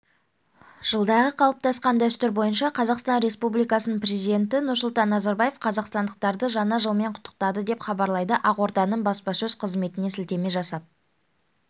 жылдағы қалыптасқан дәстүр бойынша қазақстан республикасының президенті нұрсұлтан назарбаев қазақстандықтарды жаңа жылмен құттықтады деп хабарлайды ақорданың баспасөз қызметіне сілтеме жасап